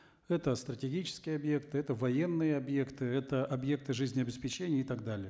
это стратегические объекты это военные объекты это объекты жизнеобеспечения и так далее